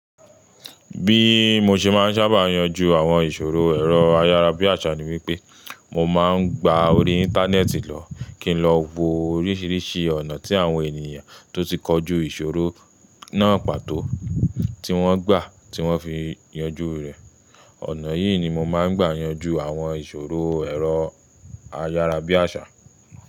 Bí mo ṣe máa n sábà yanjú àwọn ìṣòro ẹ̀rọ ayárabíàṣá ni wípé mo ma n gba orí Íńtánẹ́ẹ̀tì lọ kí n lọ wo oríṣìíríṣìí ọ̀nà tí àwọn ènìyàn tó ti kọjú ìṣòro náà pàtó, tí wọ́n gbà tí wọ́n fi yanjú rẹ̀. Ọ̀nà yìí ni mo máa n gbà yanjú àwọn ìṣòro ẹ̀rọ ayárabíàṣá.